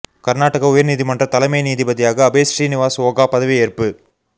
கர்நாடக உயர் நீதிமன்ற தலைமை நீதிபதியாக அபய் ஸ்ரீனிவாஸ் ஓகா பதவியேற்பு